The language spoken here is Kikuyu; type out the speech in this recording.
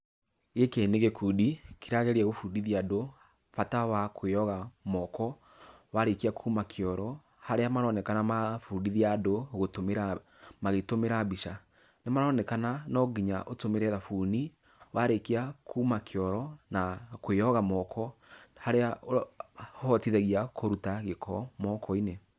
Gĩkĩ nĩ gĩkundi, kĩrageria gũbundithia andũ, bata wa kwĩyoga moko, warĩkia kuuma kĩoro. Harĩa maronekana marabundithia andũ gũtũmĩra, magĩtũmĩra mbica. Nĩmaronekana no nginya ũtũmĩre thabuni, warĩkia kuuma kĩoro, na kwĩyoga moko harĩa ũhotithagia kũruta gĩko moko-inĩ.